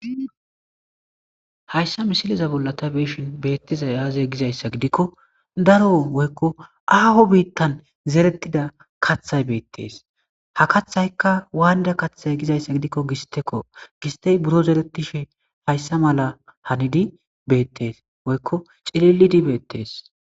Haysa misileza bolla ta beishin bettizays aze Gizaysa gidiko Daro Woyko Aho bitan Zeretida katha Betes Ha kathayka wAnida Kathe gidaysa gidiko gisteko HA gistey Biro Zeretida Haysa mala Hanidi Betes Woyko cililidi Betes